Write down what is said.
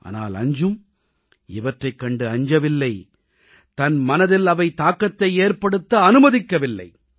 ஆனால் அஞ்ஜும் இவற்றைக் கண்டு அஞ்சவில்லை தன் மனதில் அவை தாக்கத்தை ஏற்படுத்த அனுமதிக்கவில்லை